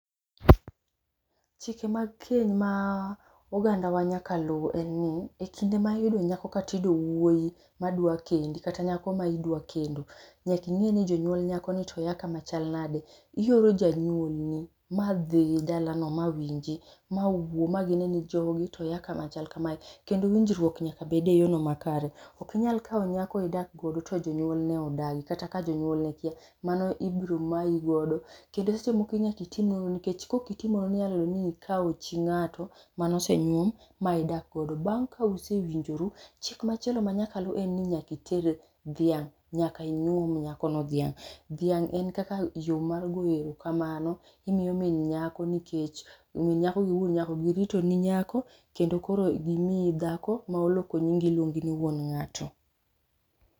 Chike mag keny ma ogandawa nyaka luw en ni,e kinde ma iyudo nyako kata iyudo wuoyi madwa kendi kata nyako ma idwa kendo, nyaka ing'e ni jonyuol nyakoni to ya kama chal nade. Ioro janyuolni madhi dalano ma winji ,mawuo ma gine ni jogi to ya kamachal kamae, kendo winjruok nyaka bede e yorno makare. Ok inyal kawo nyako idak godo to jonyuolne odagi, kata ka jonyuolne kia. Mano ibiro mayi godo kendo seche moko nyaka itim nonro, nikech kok itimo nonro inyalo yudo ni ikawo chi ng'ato manosenyuom ma idak godo. Bang' ka usewinjoru, chik machielo manyaka luw en ni nyaka iter dhiang'. Nyaka inyuom nyakono dhiang'. Dhiang' en kaka yo mar goyo erokamano. Imiyo min nyako nikech, min nyako gi wuon nyako giritoni nyako kendo koro gimiyi dhako ma oloko nyingi iluongi ni wuon ng'ato.